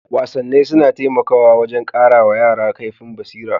Wasanni suna taimakawa wajen ƙara wa yara kaifin basira.